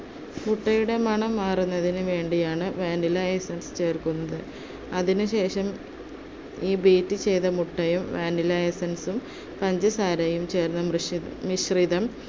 മുട്ടയുടെ മണം മാറുന്നതിനു വേണ്ടിയാണ് vanilla essence ചേർക്കുന്നത്. അതിനുശേഷം, ഈ beat ചെയ്ത മുട്ടയും vanilla essence ഉം പഞ്ചസാരയും ചേർന്ന മൃഷി~ മിശ്രിതം